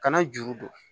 Kana juru don